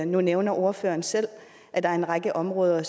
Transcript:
nu nævner ordføreren selv at der er en række områder